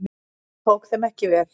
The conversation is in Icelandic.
Hún tók þeim ekki vel.